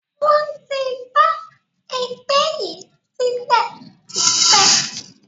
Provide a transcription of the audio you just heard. Wọn tí d ẹgbẹ́ yìí sílẹ̀ tipẹ́